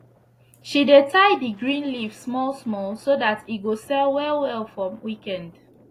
she dey tie d green leaf small small so dat e go sell well well for weekend